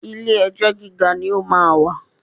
Ilé ẹjọ́ gíga ni ó máa wà